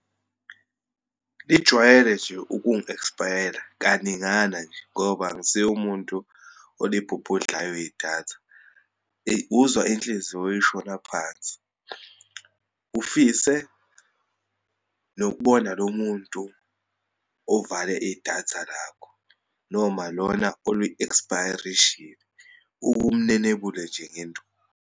Lijwayele nje ukungi-e'kspayela kaningana nje, ngoba angisiye umuntu olibhubhadlayo idatha. Eyi, uzwa inhliziyo ishona phansi, ufise nokubona lo muntu ovale idatha lakho, noma lona oli-e'kspayarishile, uke umnenebule nje ngenduku.